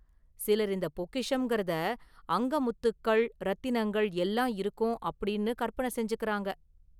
சிலர் இந்த 'பொக்கிஷம்'ங்கிறதை அங்க 'முத்துக்கள்', 'ரத்தினங்கள்' எல்லாம் இருக்கும் அப்படின்னு கற்பனை செஞ்சுகிறாங்க.